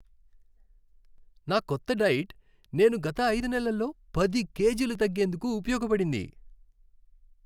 నా కొత్త డైట్ నేను గత ఐదు నెలల్లో పది కేజీలు తగ్గేందుకు ఉపయోగపడింది.